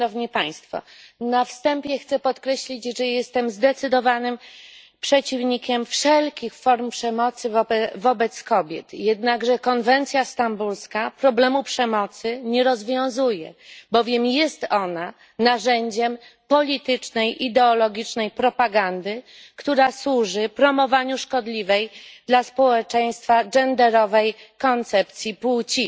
Na wstępie chcę podkreślić, że jestem zdecydowanym przeciwnikiem wszelkich form przemocy wobec kobiet, jednakże konwencja stambulska problemu przemocy nie rozwiązuje, bowiem jest ona narzędziem politycznej i ideologicznej propagandy, która służy promowaniu szkodliwej dla społeczeństwa genderowej koncepcji płci.